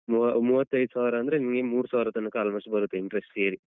ಮೂವ~ ಮೂವತ್ತೈದು ಸಾವಿರಂದ್ರೆ ನಿಂಗೆ ಮೂರು ಸಾವಿರ ತನಕ almost ಬರುತ್ತೆ interest ಸೇರಿ.